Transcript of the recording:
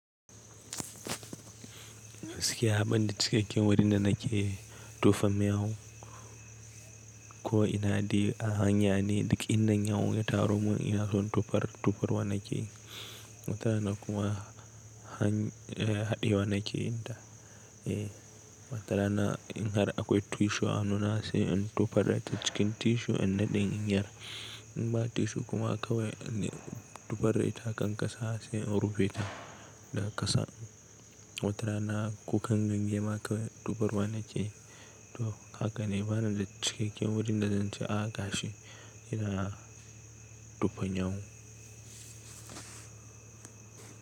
Gaskiya banda cikakken wurin da nake tofa miyau ko ina dai a hanya ne, duka inda yau ya taro mun ina son tufar, tufar wani key. Watara na kuma hany, eh haɗi wani key in da. Eh, watara na in har akwai tissue a hannuna sai in tufar da ta cikin tissue in naɗin in yara. In ba tissue kuma kawai in tufar da ita akan ƙasa sai in rufe ta da ƙasa. Watara na kukan ganye ma kawai tufar wa nake yi to haka ne bana da cikakken wurin da zan ci a ga shi ina na tofa nyaun.